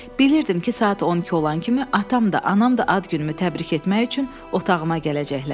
Bilirdim ki, saat 12 olan kimi atam və anam da ad günümü təbrik etmək üçün otağıma gələcəklər.